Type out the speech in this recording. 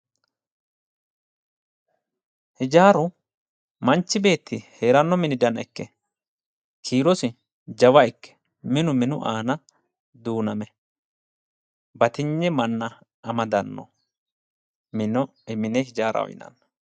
Hijaaru manchi beetti heeranno mini sana ikke kiirosi jawa ikke minu minu aana duuname batinye manna amadanno. Konne mine hijaaraho yinanni.